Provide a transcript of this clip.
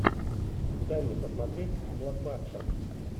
дай мне посмотреть блокбастер